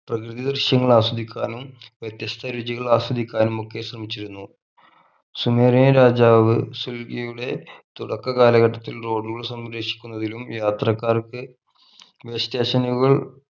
പ്രകൃതി ദൃശ്യങ്ങൾ ആസ്വദിക്കാനും വ്യത്യസ്ത രുചികൾ ആസ്വദിക്കാനും ഒക്കെ ശ്രമിച്ചിരുന്നു സുമേറിയൻ രാജാവ് സുൽഫിയുടെ തുടക്ക കാലഘട്ടത്തിൽ road കൾ സംരക്ഷിക്കുന്നതിലും യാത്രക്കാർക്ക് way station കൾ